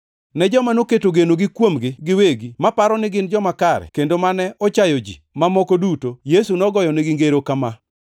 Ne joma noketo genogi kuomgi giwegi maparo ni gin joma kare kendo mane ochayo ji mamoko duto, Yesu nogoyonegi ngero kama: